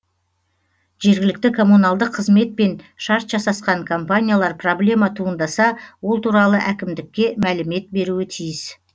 жергілікті коммуналдық қызметпен шарт жасасқан компаниялар проблема туындаса ол туралы әкімдікке мәлімет беруі тиіс